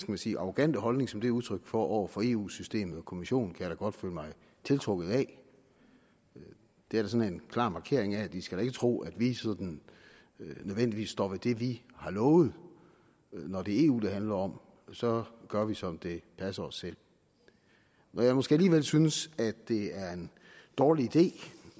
man sige arrogante holdning som det er udtryk for over for eu systemet og kommissionen kan jeg da godt føle mig tiltrukket af det er sådan en klar markering af at de skal tro at vi nødvendigvis står ved det vi har lovet når det er eu det handler om så gør vi som det passer os selv når jeg måske alligevel synes at det er en dårlig idé